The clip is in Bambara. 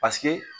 Paseke